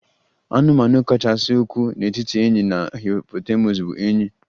Anụmanụ kachasị ukwuu n'etiti enyí na hippopotamus bụ enyí